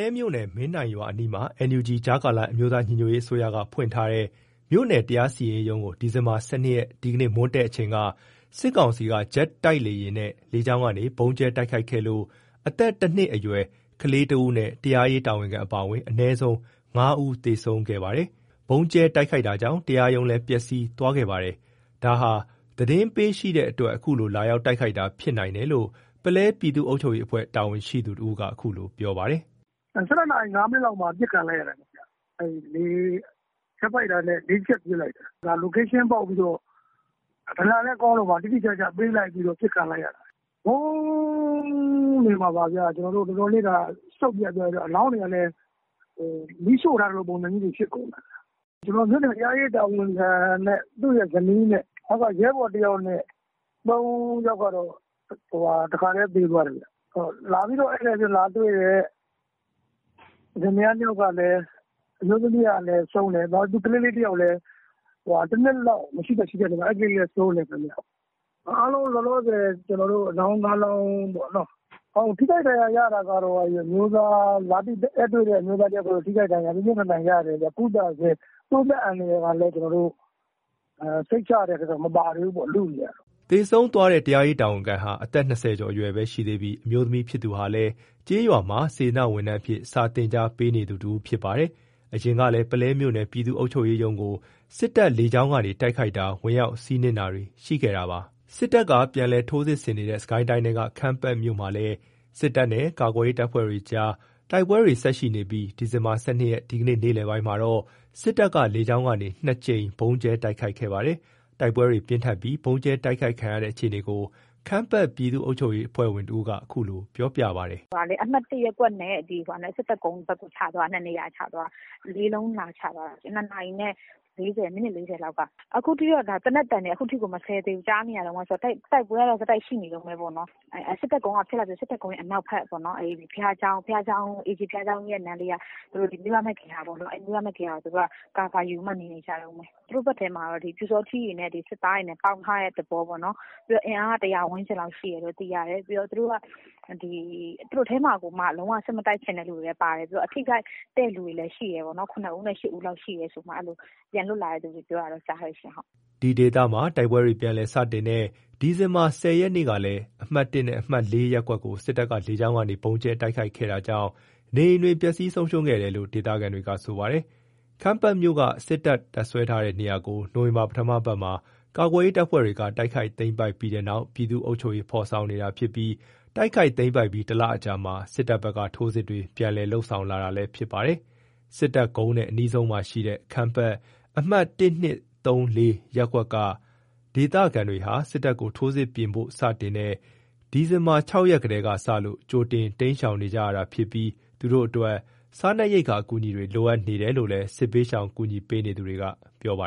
ဲမြို့နယ်၊ မင်းတိုင်ပင်ရွာ အနီးမှာ NUG - ကြားကာလ အမျိုးသားညီညွတ်ရေးအစိုးရက ဖွင့်ထားတဲ့ မြို့နယ် တရားစီရင်ရေးရုံးကို ဒီဇင်ဘာ ၁၂ ရက် ဒီကနေ့ မွန်းတည့်အချိန်က စစ်ကောင်စီက ဂျက်တိုက်လေယာဉ်နဲ့ လေကြောင်းကနေ ဗုံးကြဲတိုက်ခိုက်ခဲ့လို့ အသက် ၁ နှစ်အရွယ် ကလေးငယ်တဦးနဲ့ တရားရေးတာဝန်ခံပါအဝင် အနည်းဆုံး ၅ ဦး သေဆုံးခဲ့ပါတယ်။ ဗုံးကြဲတိုက်ခိုက်တာကြောင့် တရားရုံးလည်း ပျက်စီးသွားခဲ့ပါတယ်။ ဒါဟာ သတင်းပေးရှိတဲ့အတွက် အခုလို လာရောက်တိုက်ခိုက်တာ ဖြစ်နိုင်တယ်လို့ ပုလဲပြည်သူ့ အုပ်ချုပ်ရေးအဖွဲ့ တာဝန်ရှိသူတဦးက အခုလို ပြောပါတယ်။ “၁၂ နာရီ ၅ မိနစ်လောက်မှာ အပစ်ခံလိုက်ရတာ။ ဂျက်ဖိုက်တာနဲ့ ၄ ချက်ပစ်လိုက်တာ။ တည်နေရာပေါက်ပြီးတော့ ဒလန်လည်းကောင်းလို့ပါ တိတိကျကျပေးပြီးတော့ ပစ်ခံလိုက်ရတာ။ ဗုံးနေမှာပါ။ တော်တော်လေး စုတ်ပြတ်သွားပြီး အလောင်းတွေ ကလည်း မီးရှို့ထားသလို ပုံစံမျိုးတွေ ဖြစ်ကုန်တာ။ ကျွန်တော်တို့ မြို့နယ် တရားရေး တာဝန်ခံနဲ့ သူ့ရဲ့ဇနီးနဲ့ အောက်က ရဲဘော် ၁ ယောက်နဲ့ ၃ ယောက်ကတော့ တခါတည်းသေသွားတယ်။ လာပြီးတော့ ဧည့်သည်အဖြစ်လာတွေ့တဲ့ လင်မယား ၂ ယောက်ကလည်း အမျိုးသမီးကလည်း ဆုံးတယ်။ သူ့ကလေး အသက် ၁ နှစ် မရှိ တရှိလောက် ကလေးလည်းဆုံးတယ်။ အားလုံး အလောင်း ၅ လောင်းပေါ့။ ထိခိုက်ဒဏ်ရာရ တာကတော့ ဧည့်လာတွေ့တဲ့ အမျိုးသားကတော့ ထိခိုက်ဒဏ်ရာ ပြင်းပြင်းထန်ထန်ရတယ်။ ကုသဆဲ သူ့အသက်အန္တရယ်ကလည်း စိတ်ချရတဲ့အထဲတော့ မပါသေးဘူးပေါ့။ လုနေရတာ။” သေဆုံးသွားတဲ့ တရားရေး တာဝန်ခံဟာ အသက် ၂၀ ကျော် အရွယ်ပဲရှိသေးပြီး အမျိုးသမီးဖြစ်သူဟာလည်း ကျေးရွာမှာ စေတနာ့ဝန်ထမ်းအဖြစ် စာသင်ကြား ပေးနေသူတဦးလည်း ဖြစ်ပါတယ်။ အရင်ကလည်း ပုလဲမြို့နယ် ပြည်သူအုပ်ချုပ်ရေးရုံးကို စစ်တပ်လေကြောင်းကနေ တိုက်ခိုက်တာ၊ ဝင်ရောက် စီးနင်းတာတွေ ရှိခဲ့တာပါ။ စစ်တပ်က ပြန်လည်ထိုးစစ်ဆင်နေတဲ့ စစ်ကိုင်းတိုင်းထဲက ခမ်းပတ်မြို့မှာလည်း စစ်တပ်နဲ့ ကာကွယ်ရေး တပ်ဖွဲ့ တွေကြား တိုက်ပွဲတွေ ဆက်ရှိနေပြီး ဒီဇင်ဘာ ၁၂ ရက်၊ ဒီကနေ့ နေ့လည်ပိုင်းမှာတော့ စစ်တပ်ကလေကြောင်းကနေ ၂ ကြိမ် ဗုံးကြဲ တိုက်ခိုက်ခဲ့ပါတယ်။ တိုက်ပွဲတွေပြင်းထန်ပြီး ဗုံးကြဲတိုက်ခိုက်ခံရတဲ့ အခြေနေကို ခမ်းပတ်ပြည်သူ့ အုပ်ချုပ်ရေး အဖွဲ့ဝင်တဦးက ခုလို ပြောပြပါတယ်။ “အမှတ် ရပ်ကွက်နဲ့ စစ်တပ်ကုန်းဘက်ကို ၂ နေရာချသွားတာ။ လေးလုံး လာချသွားတာ ၂ နာရီနဲ့ မိနစ် ၄၀ လောက်က သေနတ်သံတွေကတော့ အခုထိကို မစဲသေးဘူး ကြားနေရတုန်းပဲ။ တိုက်ပွဲကတော့ ဆက်တိုက်ရှိ နေ တုန်းပဲပေါ့နော်။ စစ်တပ်ကုန်းရယ် စစ်တပ်ကုန်းက ထွက်လာပြီး စစ်တပ်ကုန်းရဲ့ အနောက်ဖက် AG ဘုရားကျောင်းရယ် အဲ့နားလေးက မိဘမဲ့ဂေဟာပေါ့နော် အဲ့မိဘမဲ့ဂေဟာမှာ သူတို့က အကာအကွယ် ယူပြီး နေနေကြတုန်း။ သူတို့ဘက်ထဲမှာတော့ ပြူစောထီးရယ် စစ်သားရယ်နဲ့ ပေါင်းထားတဲ့ သဘောပေါ့နော်။ အင်အားက ၁၀၀ ဝန်းကျင်လောက်ရှိတယ်လို့ သိရတယ်။ သူတို့ထဲမှာကိုမှ လုံး၀ စစ်မတိုက်ချင်တဲ့ သူတွေလည်း ပါတယ်။ သူတို့ထဲမှာ ထိခိုက်တဲ့သူတွေလည်း ရှိတယ်ပေါ့နော်။ ၇ ဦးနဲ့ ၈ ဦး လောက်ရှိတယ်လို့ ပြန်လွတ်လာတဲ့ သူတွေက ပြောတယ်။” ဒီဒေသမှာ တိုက်ပွဲတွေ ပြန်လည်စတင်တဲ့ ဒီဇင်ဘာ ၁၀ ရက်ကလည်း အမှတ် ၁ နဲ့ အမှတ် ၄ ရပ်ကွက်ကို စစ်တပ်က လေကြောင်းကနေ ဗုံးကြဲတိုက်ခိုက်ခဲ့တာကြောင့် နေအိမ်တွေ ပျက်စီးဆုံးရှုံးခဲ့တယ်လို့ ဒေသခံတွေက ဆိုပါတယ်။ ခမ်းပတ်မြို့က စစ်တပ် တပ်စွဲထားတဲ့ နေရာကို နိုဝင်ဘာ ပထမအပတ်မှာ ကာကွယ်ရေး တပ်ဖွဲ့တွေက တိုက်ခိုက်သိမ်းပိုက်ပြီးတဲ့နောက် ပြည်သူ့အုပ်ချုပ်ရေး ဖော်ဆောင်နေတာဖြစ်ပြီး တိုက်ခိုက်သိမ်းပိုက်ပြီး ၁ လအကြာမှာ စစ်တပ်ဘက်က ထိုးစစ်တွေ ပြန်လည် လုပ်ဆောင်လာတာလည်း ဖြစ်ပါတယ်။ စစ်တပ်ကုန်းနဲ့ အနီးဆုံးမှာရှိတဲ့ ခမ်းပတ် အမှတ် ၁-၂-၃-၄ ရပ်ကွက်က ဒေသခံတွေဟာ စစ်တပ်က ထိုးစစ်ပြင်ဖို့ စတင်နေတဲ့ ဒီဇင်ဘာ ၆ ရက်ကတည်းက စလို့ ကြိုတင် တိမ်းရှောင်နေကြရတာဖြစ်ပြီး သူတို့အတွက် စားနပ်ရိက္ခာအကူအညီတွေ လိုအပ်နေတယ်လို့လည်း စစ်ဘေးရှောင် ကူညီပေးနေသူတွေက ပြောပါ